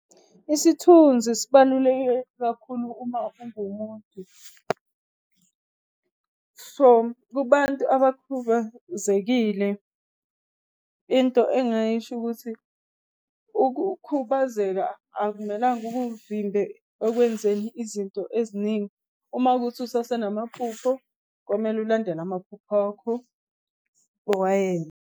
Isithunzi sibaluleke kakhulu uma ungumuntu. So kubantu abakhubazekile into engingayisho ukuthi, ukukhubazeka akumelanga kuvimbe ekwenzeni izinto eziningi. Uma ukuthi usasenamaphupho, komele ulandele amaphupho akho uwayenze.